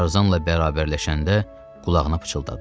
Tarzanla bərabərləşəndə qulağına pıçıldadı.